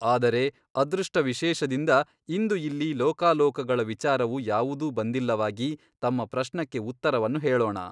ಆದರೆ ಅದೃಷ್ಟ ವಿಶೇಷದಿಂದ ಇಂದು ಇಲ್ಲಿ ಲೋಕಾಲೋಕಗಳ ವಿಚಾರವು ಯಾವುದೂ ಬಂದಿಲ್ಲವಾಗಿ ತಮ್ಮ ಪ್ರಶ್ನಕ್ಕೆ ಉತ್ತರವನ್ನು ಹೇಳೋಣ.